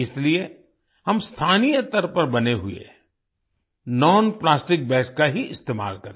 इसलिए हम स्थानीय स्तर पर बने हुएnonplastic बैग्स का ही इस्तेमाल करें